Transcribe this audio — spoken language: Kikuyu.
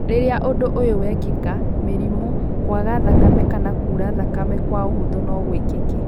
Rĩrĩa ũndũ ũyũ wekĩka, mĩrimũ, kũaga thakame kana kuura thakame kwa ũhũthũ no gũĩkĩke.